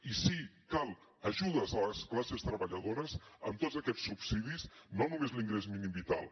i sí cal ajudes a les classes treballadores amb tots aquests subsidis no només l’ingrés mínim vital